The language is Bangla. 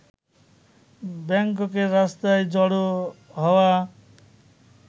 ব্যাংককের রাস্তায় জড়ো হওয়া